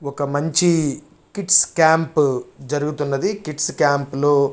ఒక మంచి kids camp జరుగుతున్నది. కిడ్స్ క్యాంపు లో--